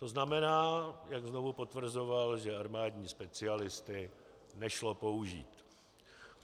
To znamená, jak znovu potvrzoval, že armádní specialisty nešlo použít.